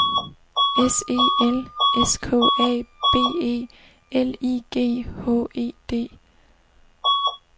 S E L S K A B E L I G H E D